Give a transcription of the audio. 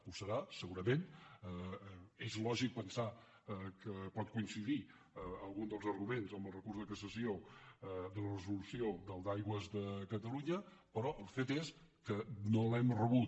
ho serà segurament és lògic pensar que pot coincidir algun dels arguments amb el recurs de cassació de la resolució del d’aigües de catalunya però el fet és que no l’hem rebut